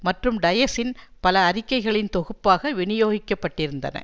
மற்றும் டயசின் பல அறிக்கைகளின் தொகுப்பாக வினியோகிக்கப்பட்டிருந்தன